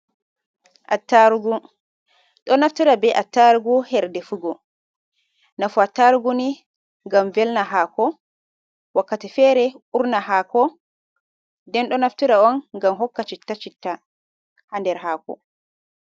Attarugo, ɗo naftira be attarugu her defugo. Nafu attargu ni ngam welna haako, wakkati fere urna haako, nden ɗon naftira on ngam hokka citta-citta ha nder haako.